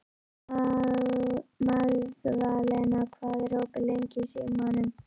Magðalena, hvað er opið lengi í Símanum?